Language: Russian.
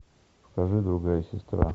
покажи другая сестра